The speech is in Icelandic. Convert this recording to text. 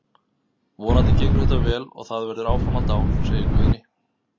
Vonandi gengur þetta vel og það verður framhald á, segir Guðni.